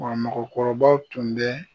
Wa mɔgɔkɔrɔbaw tun bɛ